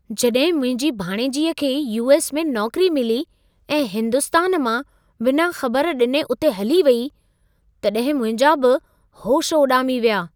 जॾहिं मुंहिंजी भाणेजीअ खे यू.एस. में नौकरी मिली ऐं हिंदुस्तान मां बिना ख़बर ॾिने उते हली वेई, तॾहिं मुंहिंजा बि होश उॾामी विया।